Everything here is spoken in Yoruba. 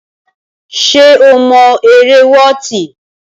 Ṣé o mọ eré wọọti.